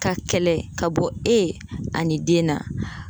K'a kɛlɛ k'a bɔ e ani den na